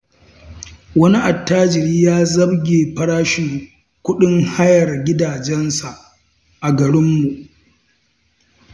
Wani attajiri ya zabge farashin kuɗin hayar gidajensa a garinmu.